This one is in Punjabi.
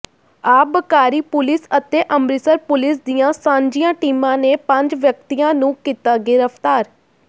ਆਬਕਾਰੀ ਪੁਲਿਸ ਅਤੇ ਅੰਮ੍ਰਿਤਸਰ ਪੁਲਿਸ ਦੀਆਂ ਸਾਂਝੀਆਂ ਟੀਮਾਂ ਨੇ ਪੰਜ ਵਿਅਕਤੀਆਂ ਨੂੰ ਕੀਤਾ ਗਿ੍ਰਫ਼ਤਾਰ